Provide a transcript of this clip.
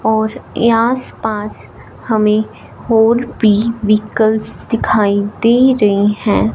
और आस पास हमें और भी व्हीकल दिखाई दे रहे हैं।